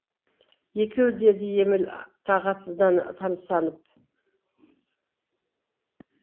екеу деді еміл тағатсыздан тамсанып